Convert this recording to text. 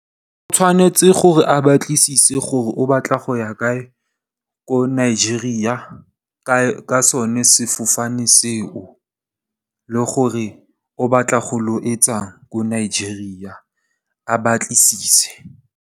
O tshwanetse gore a batlisise gore o batla go ya kae ko Nigeria ka sone sefofane seo. Le gore o batla go ilo etsang ko Nigeria a batlisise.